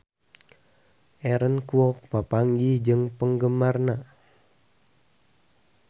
Aaron Kwok papanggih jeung penggemarna